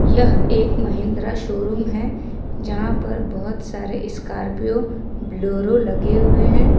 यह एक महिंद्रा शोरूम है जहां पर बहुत सारे स्कॉर्पियो बोलेरो लगे हुए हैं।